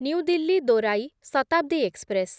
new Delhi ଦୋରାଇ Shatabdi express